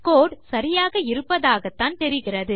கோடு சரியாக இருப்பதாகத்தான் தெரிகிறது